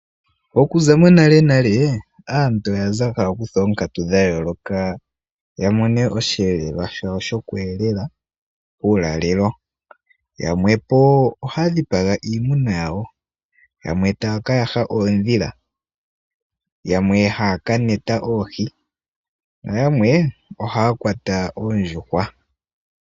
Okuza monalenale aantu oya za haya kutha oonkatu dhayooloka yamone oshiyelelwa shawo shoku elala uulalelo . Yamwe ohaya dhipaga po iimuna yawo, yamwe taya ka yaha oondhila, yamwe taya ka kwata oohi noyamwe ohaya kwata oondjuhwa.